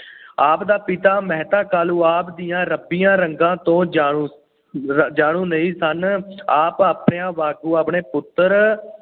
ਆਪ ਦਾ ਪਿਤਾ ਮਹਿਤਾ ਕਾਲੂ ਆਪ ਦਿਆਂ ਰੱਬੀਆਂ ਰੰਗਾਂ ਤੋਂ ਜਾਣੂੰ ਅਹ ਜਾਣੂੰ ਨਹੀਂ ਸਨ । ਆਪ ਮਾਪਿਆਂ ਵਾਂਗ ਆਪਣੇ ਪੁੱਤਰ